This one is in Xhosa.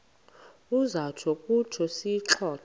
uza kutsho siyixoxe